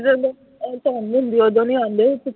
ਜਦੋਂ ਧੁੰਦ ਹੁੰਦੀ ਓਦੋਂ ਨਹੀਂ ਆਉਂਦੇ